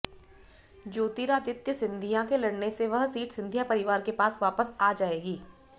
ज्योतिरादित्य सिंधिया के लड़ने से वह सीट सिंधिया परिवार के पास वापस आ जाएगी